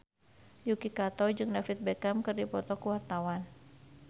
Yuki Kato jeung David Beckham keur dipoto ku wartawan